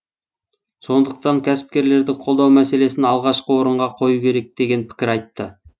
сондықтан кәсіпкерлерді қолдау мәселесін алғашқы орынға қою керек деген пікір айтты